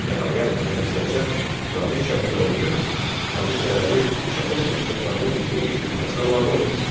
Nəhayət, Məlik Nəcəf Nadir şahı inandırır ki, Hacı Çələbi şahın tapşırıqlarının yerinə yetirilməsinə mane olur.